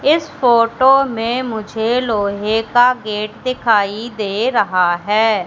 इस फोटो में मुझे लोहे का गेट दिखाई दे रहा हैं।